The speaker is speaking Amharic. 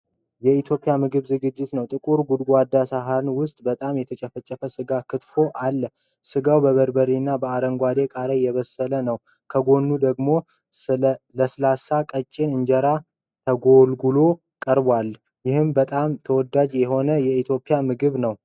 የኢትዮጵያ ምግብ ዝግጅት ነው። ጥቁር ጎድጓዳ ሳህን ውስጥ በጣም የተፈጨ ሥጋ (ቂንጥፎ) አለ። ሥጋው በበርበሬና በአረንጓዴ ቃሪያ የተበሰለ ነው። ከጎኑ ደግሞ ለስላሳና ቀጭን እንጀራ ተጎልጉሎ ቀርቧል። ይህም በጣም ተወዳጅ የሆነ የኢትዮጵያ ምግብ ነው።